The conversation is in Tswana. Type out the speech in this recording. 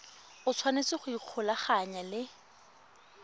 o tshwanetse go ikgolaganya le